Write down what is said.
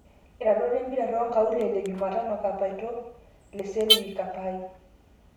Iratiot lempira tonkaulele Jumatano; Kapaito, Leselwl, Kapai